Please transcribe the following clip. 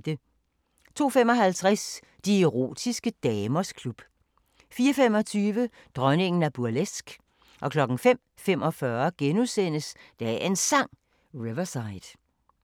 02:55: De erotiske damers klub 04:25: Dronningen af burleske 05:45: Dagens Sang: Riverside *